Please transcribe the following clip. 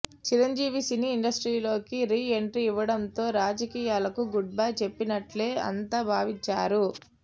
Chiranjeevi cine ఇండస్ట్రీలోకి re entry ఇవ్వడంతో రాజకీయాలకు గుడ్ బై చెప్పేసినట్లే అంతా భావించారు